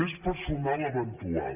més personal eventual